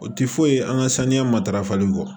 O ti foyi ye an ka saniya matarafali kɔ